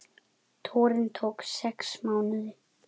Túrinn tók sex mánuði.